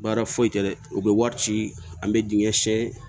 Baara foyi tɛ dɛ u bɛ wari ci an bɛ dingɛ sen